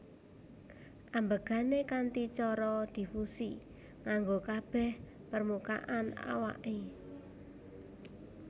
Ambegané kanthi cara difusi nganggo kabeh permukaan awake